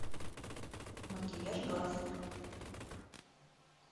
макияж глаз